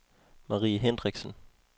Marie Hendriksen